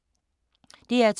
DR2